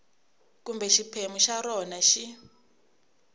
kumbe xiphemu xa rona xi